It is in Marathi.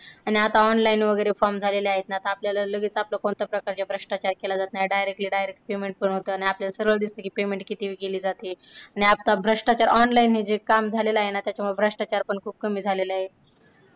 आणि online वैगरे form झालेले आहे ना त्यामध्ये खूप भ्रष्टाचार व्हायचा आणि आता online वैगरे form झालेले आहे ना तर लगेच आपल्याला आपलं त्यामध्ये कोणताही प्रकारचे भ्रष्टाचार केले जात नाही directly direct payment पण होतं आणि आपल्यला सरळ दिसत कि payment किती केले जाते आणि आता भ्रष्टाचार online हे जे काम झालेले आहे ना त्यामुळे भ्रष्टाचार खूप कमी झालेले आहे.